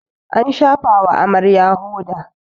an shafawa Amarya hoda